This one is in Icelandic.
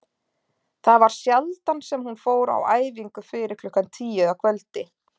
Það var sjaldan sem hún fór á æfingu fyrir klukkan tíu að kvöldi.